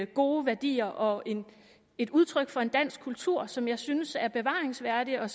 gode værdier og et udtryk for en dansk kultur som jeg synes er bevaringsværdig og